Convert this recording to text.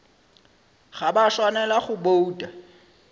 ga ba swanela go bouta